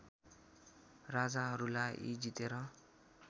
राजाहरूलाई जितेर